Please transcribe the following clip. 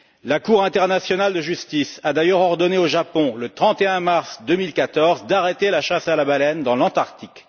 La Cour internationale de justice a d'ailleurs ordonné au Japon, le 31 mars 2014, d'arrêter la chasse à la baleine dans l'Antarctique.